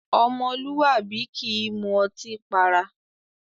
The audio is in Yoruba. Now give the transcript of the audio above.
Ọmọlúwàbí kì í mú ọtí para.